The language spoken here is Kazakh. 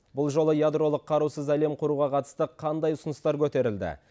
бұл жолы ядролық қарусыз әлем құруға қатысты қандай ұсыныстар көтерілді